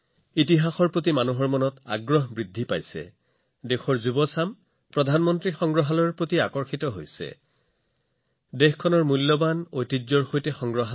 ইতিহাসৰ প্ৰতি মানুহৰ আগ্ৰহ যথেষ্ট বৃদ্ধি পাইছে আৰু এনে পৰিপ্ৰেক্ষিতত প্ৰধানমন্ত্ৰী সংগ্ৰহালয়টো যুৱচামৰ বাবে আকৰ্ষণৰ কেন্দ্ৰ বিন্দু হৈ পৰিছে যিয়ে তেওঁলোকক দেশৰ মূল্যৱান ঐতিহ্যৰ সৈতে সংযোগ কৰি আছে